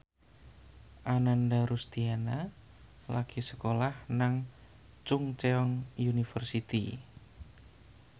Ananda Rusdiana lagi sekolah nang Chungceong University